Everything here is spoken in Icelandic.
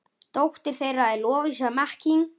Dóttir þeirra er Lovísa Mekkín.